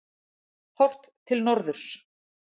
Horft til norðurs.